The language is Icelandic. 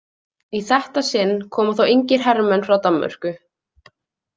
Í þetta sinn koma þó engir hermenn frá Danmörku.